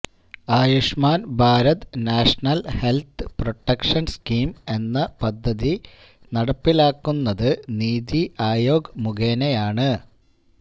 Ayushman Bharat national health protection scheme എന്ന പദ്ധതി നടപ്പിലാക്കുന്നത് നിതി ആയോഗ് മുഖേനയാണ്